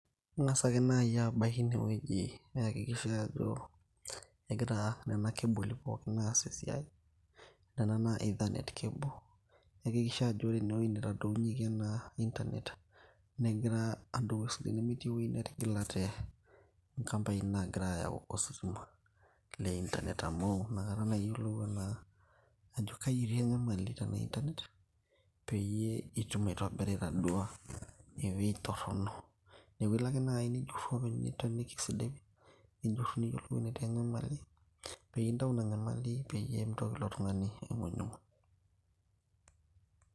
ing'as ake naaji abaki inewueji niyakikisha ajo egira nena keboli pookin aas esiai nena noo ethanate cable niyakikisha ajo ore enewueji nitadounyieki ena internet negira adou esidai nemetii ewueji netigilate inkampai naagira ayau ositima le internet amu inakata anaa ajo kaji etii enyamali tenaa internet peyie itum aitobira itadua ewueji torrono neeku ilo ake naaji nijurru openy, nitaaniki esidai nijurru niyiolou netii enyamali peyie intau ina nyamali peyie mitoki ilo tung'ani aing'unyinguny.